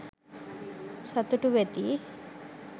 සතුටු වෙති.